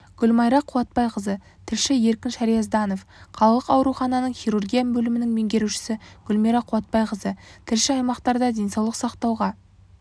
гүлмайра қуатбайқызы тілші еркін шериазданов қалалық аурухананың хирургия бөлімінің меңгерушісі гүлмайра қуатбайқызы тілші аймақтарда денсаулық сақтауға